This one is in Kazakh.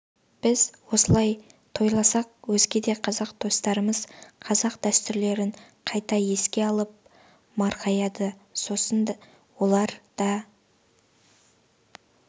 біз осылай тойласақ өзге де қазақ достарымыз қазақ дәстүрлерін қайта еске алып марқаяды сосын олар да